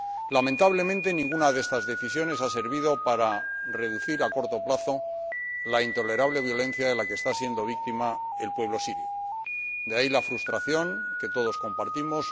Lamentablemente ninguna de estas decisiones ha servido para reducir a corto plazo la intolerable violencia de la que está siendo víctima el pueblo sirio, de ahí la frustración que todos compartimos.